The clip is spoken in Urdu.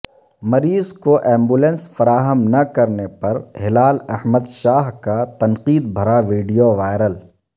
مریض کو ایمبولینس فراہم نہ کرنے پر ہلال احمد شاہ کا تنقید بھرا ویڈیو وائرل